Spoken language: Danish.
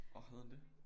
Åh havde han det